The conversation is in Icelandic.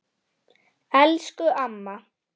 Elsku amma.